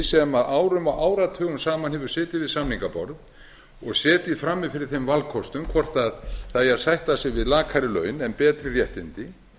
sem árum og áratugum saman hefur setið við samningaborð og setið frammi fyrir þeim valkostum hvort það eigi að sætta sig við lakari laun og betri réttindi